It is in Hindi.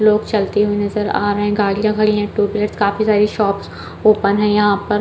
लोग चलते हुए नजर आ रहै है गाड़ियां खड़ी है टोटोस काफी सारी शॉप्स ओपन है यहाँ पर --